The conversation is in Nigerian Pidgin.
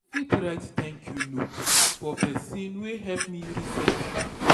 I fit write thank you note for someone wey help me recently.